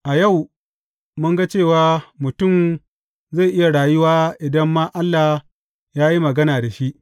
A yau mun ga cewa mutum zai iya rayu idan ma Allah ya yi magana da shi.